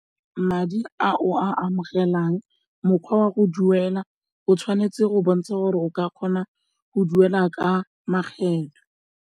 Madi a o a amogelang, mokgwa wa go duela o tshwanetse go bontsha gore o ka kgona go duela ka makgetlho.